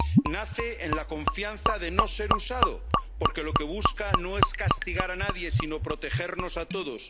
Nace con la confianza de no ser usado, porque lo que busca no es castigar a nadie, sino protegernos a todos.